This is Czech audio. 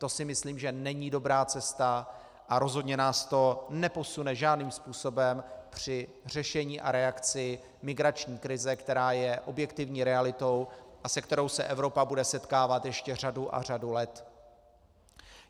To si myslím, že není dobrá cesta a rozhodně nás to neposune žádným způsobem při řešení a reakci migrační krize, která je objektivní realitou a s kterou se Evropa bude setkávat ještě řadu a řadu let.